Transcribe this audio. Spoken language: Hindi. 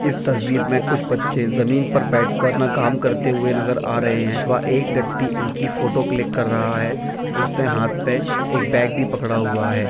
इस तस्वीर में कुछ बच्चें जमीन पर बैठकर अपना काम करते हुए नजर आ रहे हैं व एक व्यक्ति इनकी फोटो क्लिक कर रहा है उसने हाथ में एक बैग भी पकड़ा हुआ है।